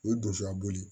U ye donsoya boli